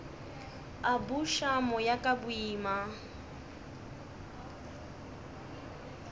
a buša moya ka boima